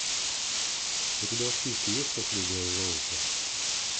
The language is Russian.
у тебя в списке есть последняя золушка